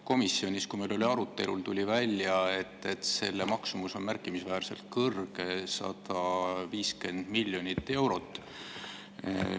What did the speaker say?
Komisjonis, kui meil oli arutelu, tuli välja, et selle maksumus on märkimisväärselt suur, 150 miljonit eurot.